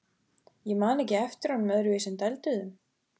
Ég man ekki eftir honum öðruvísi en dælduðum.